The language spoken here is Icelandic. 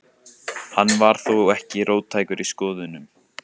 Hann var þó ekki róttækur í skoðunum.